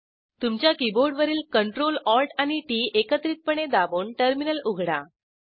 तुमच्या कीबोर्डवरील Ctrl Alt आणि टीटी एकत्रितपणे दाबून टर्मिनल उघडा